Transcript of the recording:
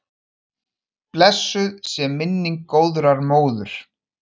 Blessuð sé minning góðrar móður.